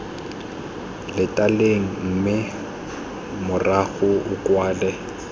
latelang mme morago o kwale